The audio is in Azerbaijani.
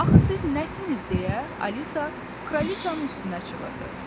Axı siz nəsinsiniz deyə Alisa kraliçanın üstünə çığırdı.